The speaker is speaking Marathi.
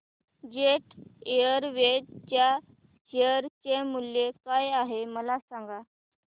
जेट एअरवेज च्या शेअर चे मूल्य काय आहे मला सांगा